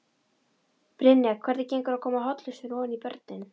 Brynja: Hvernig gengur að koma hollustunni ofan í börnin?